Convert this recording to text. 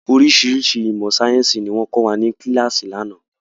Oríṣiríṣi ìmọ̀ sayẹ́nsi ni wọn kọ́ wa ni kíláàsì ni àná.